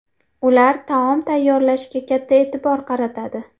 Ular taom tayyorlashga katta e’tibor qaratadi.